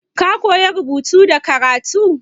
Ka koya rubutu da karatu?